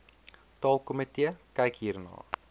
taalkomitee kyk hierna